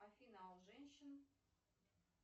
афина а у женщин